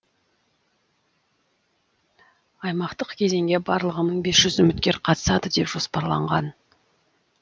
аймақтық кезеңге барлығы мың бес жүз үміткер қатысады деп жоспарланған